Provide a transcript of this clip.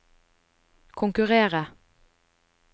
konkurrere